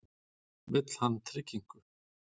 Vill hann tryggingu?